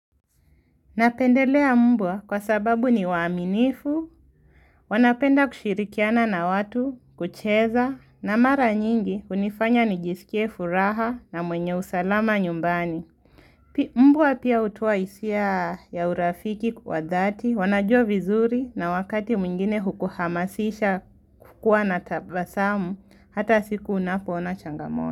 Napendelea mbwa kwa sababu ni waaminifu, wanapenda kushirikiana na watu, kucheza, na mara nyingi unifanya nijisikie furaha na mwenye usalama nyumbani. Mbwa pia utoa hisia ya urafiki wa dhati, wanajua vizuri na wakati mwingine hukuhamasisha kukua na tabasamu, hata siku unapona changamona.